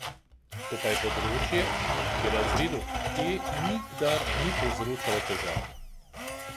To pa je področje, ki razredu E nikdar ni povzročalo težav.